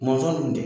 Mɔnzɔn tun tɛ